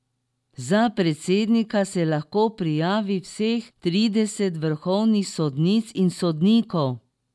Za predsednika se lahko prijavi vseh trideset vrhovnih sodnic in sodnikov.